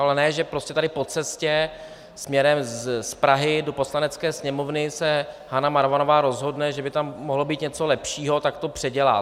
Ale ne že prostě tady po cestě směrem z Prahy do Poslanecké sněmovny se Hana Marvanová rozhodne, že by tam mohlo být něco lepšího, tak to předělá.